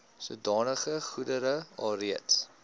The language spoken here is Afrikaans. sodanige goedere alreeds